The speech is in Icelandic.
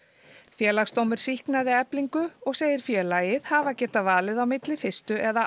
Félagsdómur sýknaði Eflingu og segir félagið hafa getað valið á milli fyrstu eða